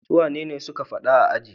Suwane suke faɗa a aji?